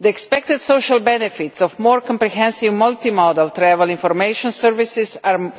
The expected social benefits of more comprehensive multimodal travel information services are